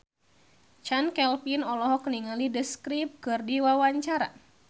Chand Kelvin olohok ningali The Script keur diwawancara